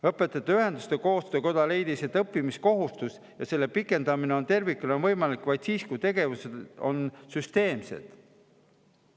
Õpetajate Ühenduste Koostöökoda leidis, et õppimiskohustus ja selle pikendamine tervikuna on võimalik vaid siis, kui tegevused on süsteemsed.